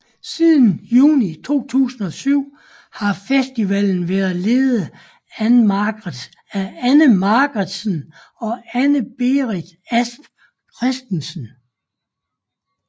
Siden juni 2007 har festivalen været ledet af Anne Marqvardsen og Anna Berit Asp Christensen